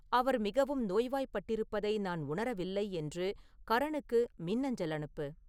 அவர் மிகவும் நோய்வாய்ப்பட்டிருப்பதை நான் உணரவில்லை என்று கரணுக்கு மின்னஞ்சல் அனுப்பு